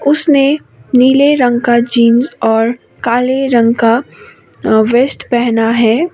उसने नीले रंग का जींस और काले रंग का अ वेस्ट पहना है।